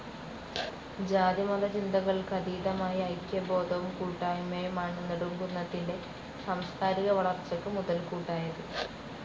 ജാതിമത ചിന്തകൾക്ക്‌ അതീതമായ ഐക്യബോധവും കൂട്ടായ്മയുമാണ്‌ നെടുംകുന്നത്തിൻ്റെ സാംസ്കാരിക വളർച്ചക്ക്‌ മുതൽകൂട്ടായത്‌.